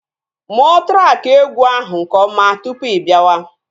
Mụọ traki egwu ahụ nke ọma tụpụ ibiawa